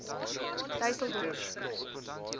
dysselsdorp